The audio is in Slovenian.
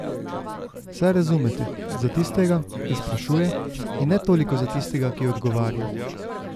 Saj razumete, za tistega, ki sprašuje, in ne toliko za tistega, ki odgovarja.